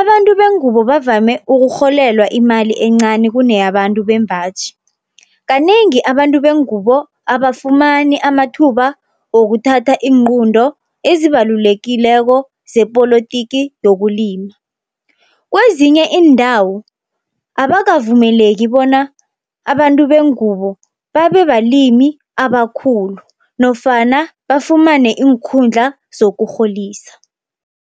Abantu bengubo bavame ukurholelwa imali encani kune yabantu bembaji. Kanengi abantu bengubo abafumani amathuba wokuthatha iinqunto ezibalulekileko zepolotiki yokulima, kwezinye iindawo abakavumeleki bona abantu bengubo babe balimi abakhulu nofana bafumane iinkhundla zokurholisa.